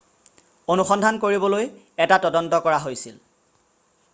অনুসন্ধান কৰিবলৈ এটা তদন্ত কৰা হৈছিল